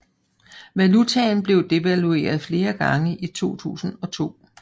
Valutaen blev devalueret flere gange i 2002